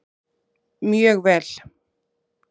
Mjög vel